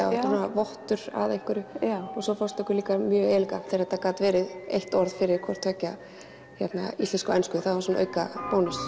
vottur af einhverju og svo fannst okkur líka mjög elegant þegar þetta gat verið eitt orð yfir hvort tveggja íslensku og ensku það var svona aukabónus